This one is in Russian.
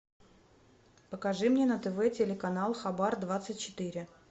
покажи мне на тв телеканал хабар двадцать четыре